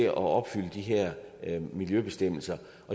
at opfylde de her miljøbestemmelser